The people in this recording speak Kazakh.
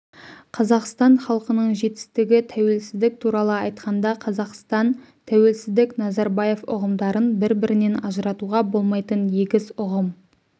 қазақстан халқының жетістігі тәуелсіздік туралы айтқанда қазақстан тәуелсіздік назарбаев ұғымдарын бір-бірінен ажыратуға болмайтын егіз ұғым